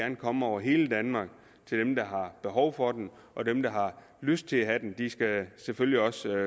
komme over hele danmark til dem der har behov for den og dem der har lyst til at have den skal selvfølgelig også